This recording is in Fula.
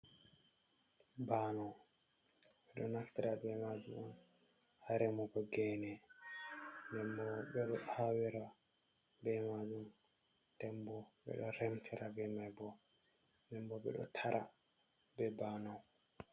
Banau bedo naftira be majum on ha remugo gene denbo ɓeɗo hawira be majum dem bo ɓe ɗo remtira be mai bo, dembo ɓe ɗo tara be banau.